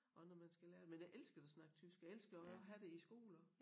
Og når man skal lære det men jeg elsker da at snakke tysk jeg elskede jo også at have det i æ skole også